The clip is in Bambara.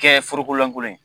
Kɛ foroko lankolon ye.